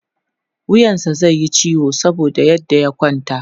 wuyansa zaiyi ciwo saboda yadda ya kwanta